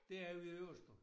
Det er vi overstået